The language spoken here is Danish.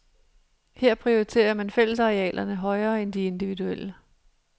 Her prioriterer man fællesarealerne højere end de individuelle.